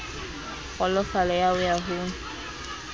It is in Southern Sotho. kgolofalo ya ho ya ho